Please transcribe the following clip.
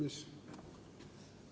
Hea esimees!